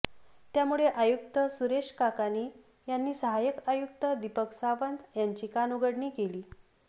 त्यामुळे आयुक्त सुरेश काकाणी यांनी सहाय्यक आयुक्त दीपक सावंत यांची कानउघडणी केली